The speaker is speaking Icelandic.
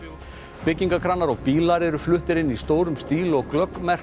byggingarkranar og bílar eru fluttir inn í stórum stíl og glögg merki